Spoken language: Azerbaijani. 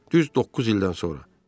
Düz doqquz ildən sonra.